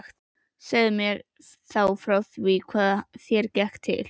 Segðu mér þá frá því hvað þér gekk til.